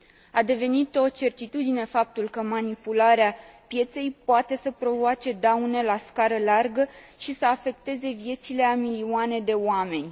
A devenit o certitudine faptul că manipularea pieței poate să provoace daune la scară largă și să afecteze viețile a milioane de oameni.